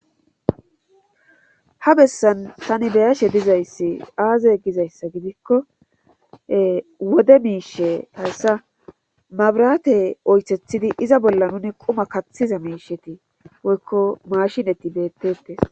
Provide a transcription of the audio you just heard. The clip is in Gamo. ha bessan tani beyashe dizayssi aaze gizayssa gidikko wode miishe tayssa mabrate oythethidi iza bolla nuni quma kaththiza miisheti woykko mashineti beettetes